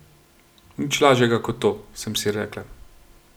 Nič lažjega, kot to, sem si rekla.